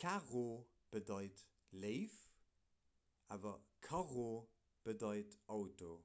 'caro' bedeit 'léif' awer 'carro' bedeit 'auto'